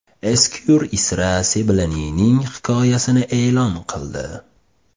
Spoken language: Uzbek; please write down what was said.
Esquire Israa Seblanining hikoyasini e’lon qildi.